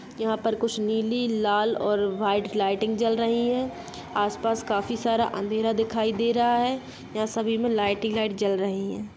यहाँ पर कुछ नीली लाल और व्हाइट लाइटिंग जल रही हैं। आसपास काफी सारा अँधेरा दिखाई दे रहा है। यहाँ सभी में लाइट ही लाइट जल रही हैं।